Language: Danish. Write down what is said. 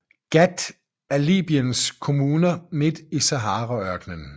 Ghat er en af Libyens kommuner midt i Saharaørknen